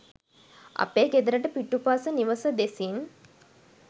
අපේ ගෙදරට පිටුපස නිවස දෙසින්